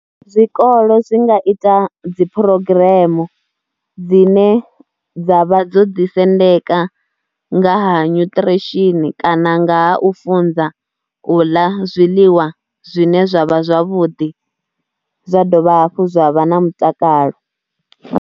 Zwikolo zwi nga ita dzi phurogiremu dzine dza vha dzo ḓisendeka nga ha nutrition kana nga ha u funza u ḽa zwiḽiwa zwine zwa vha zwavhuḓi zwa dovha hafhu zwa vha na mutakalo.